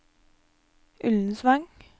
Ullensvang